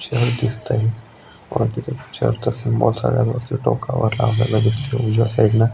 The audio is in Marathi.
चर्च दिसतय चर्चच सिम्बॉल सगळ्यात वरच्या टोकावर लावलेल दिसतय उजव्या साइडन --